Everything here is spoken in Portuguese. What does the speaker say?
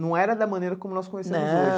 Não era da maneira como nós conhecemos hoje. Não